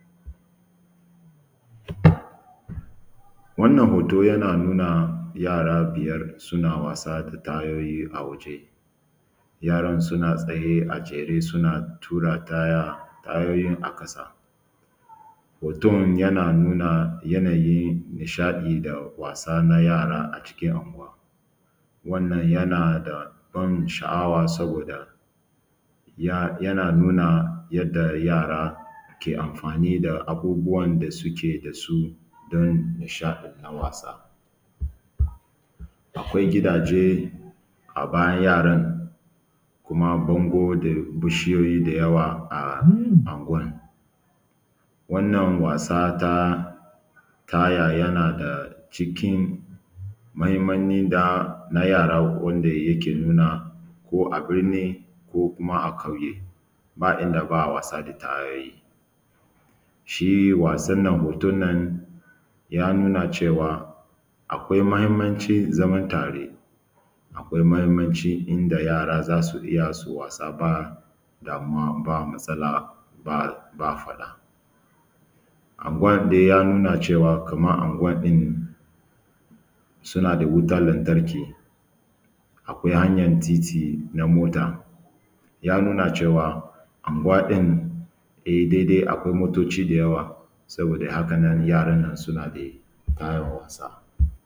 Wannan hoto yana nuna yara biyar suna amfani da tayoyi a waje, yaran suna tsaye a jere suna tura taya tyoyin a ƙasa hoton yana nuna yanayin nishaɗi da wasa na yara a cikin anguwa, wannan yanada ban sha’awa saoda yana nuna yadda yara ke amfani da abubuwan da suke da su don nishaɗan ta wasa. Akwai gidaje a bayan yaran kuma bango da bushuyoyi da yawa a anguwan wannan wasa ta taya yana da cikin mahinmancin da na yara ko yake nuna ko a binni ko kuma a ƙauye ba ida ba a wasa da tayoyi shi wasannan hoton nan ya nuna cewa akwai mahinmancin zaman tare. Akwai mahinaci da yara za su iya su yi wasa ba damuwa ba, masifa ba faɗa anguwan dai ya nuna cewa kaman ma anguwan suna da wutan lantarki, akwai hanyan titi na mota haka ya nuna cewa anguwa ɗin dai-dai akwai motoci da yawa saboda hakan nan yaran nan da fara wasa.